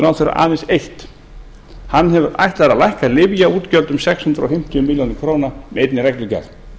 ráðherra aðeins eitt hann ætlar að lækka lyfjaútgjöld um sex hundruð fimmtíu milljónir króna með einni reglugerð